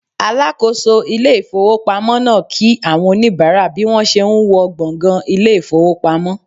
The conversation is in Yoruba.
Alakoso ile ifowopamo naa ki awon onibara bi won se n wo gbongan ile ifowpamo